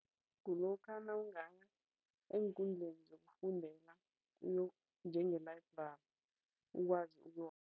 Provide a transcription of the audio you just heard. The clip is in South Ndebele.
Kulokha nawungaya eenkundleni zokufundela njenge-library ukwazi